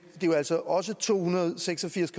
det er jo altså også to hundrede og seks og firs